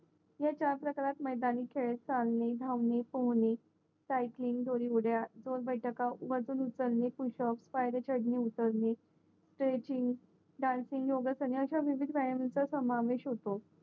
या चार प्रकारात मेदनी खेळ चालनी धावणी पोहणे सायक्लिन दोरउड्या जोरबैठका वजन उचलणे पुषप पायऱ्या चढणे उतरणे स्टेचिंग डान्सिंग सगळ्यांचा विविध समावेश होतो